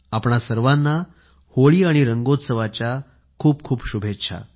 आपणा सर्वाना होळी आणि रंगोत्स्वाच्या खूप शुभेच्छा